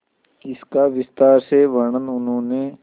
इसका विस्तार से वर्णन उन्होंने